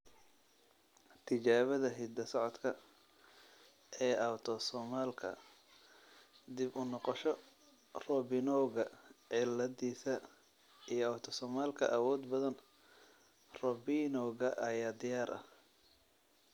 Tijaabada hidda-socodka ee autosomalka dib uu noqosho Robinowga ciladisa iyo autosomalka awood badan Robinowga ayaa diyaar ah.